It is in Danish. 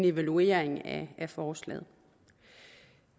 evaluering af forslaget